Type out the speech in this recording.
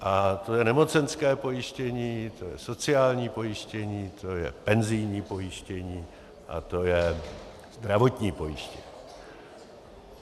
A to je nemocenské pojištění, to je sociální pojištění, to je penzijní pojištění a to je zdravotní pojištění.